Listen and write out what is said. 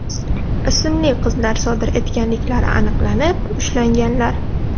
ismli qizlar sodir etganliklari aniqlanib, ushlanganlar.